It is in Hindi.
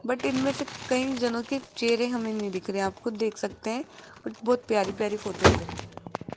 बट इनमें से कई जनों के चेहरे हमें नहीं दिख रहे आप खुद देख सकते हैं बहोत प्यारी प्यारी फोटोस है।